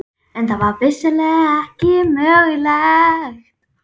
En það var vissulega ekki mögulegt.